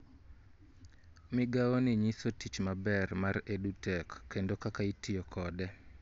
Migawoni nyiso tich maber mar EduTech kendo kaka itiyo kode